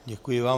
Děkuji vám.